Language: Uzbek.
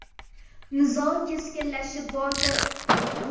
Nizo keskinlashib bordi.